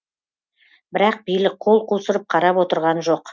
бірақ билік қол қусырып қарап отырған жоқ